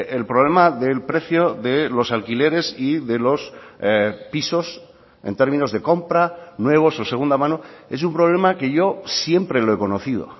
el problema del precio de los alquileres y de los pisos en términos de compra nuevos o segunda mano es un problema que yo siempre lo he conocido